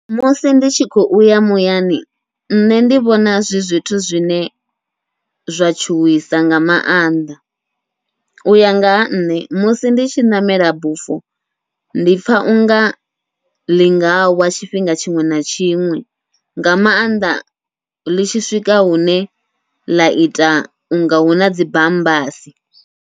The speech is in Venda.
Musi ndi tshi khou ya muyani nṋe ndi vhona zwi zwithu zwine zwa tshuwisa nga mannḓa, uya nga ha nṋe musi ndi tshi ṋamela bufho ndi pfha unga ḽi ngawa tshifhinga tshiṅwe na tshiṅwe, nga maanḓa ḽi tshi swika hune ḽa ita unga huna dzi bambasi.